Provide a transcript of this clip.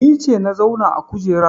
Ni ce na zauna a kujerar